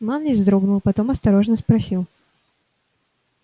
манлис вздрогнул потом осторожно спросил